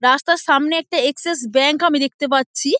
রাস্তার সামনে একটা এক্সেস ব্যাঙ্ক আমি দেখতে পাচ্ছি।